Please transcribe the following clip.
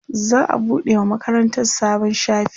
za'a buɗe wa makarantan sabon shafi